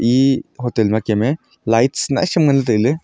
ee hoten ma kem me lights nyai sam nganley taile.